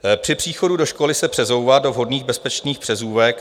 "Při příchodu do školy se přezouvat do vhodných bezpečných přezůvek.